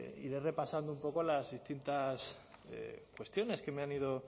iré repasando un poco las distintas cuestiones que me han ido